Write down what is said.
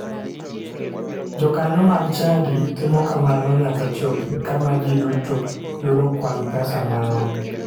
Jokanyo mag chadi timo kamano nyaka chop kama ji duto yudo kwan pesa marom.